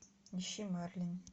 ищи мерлин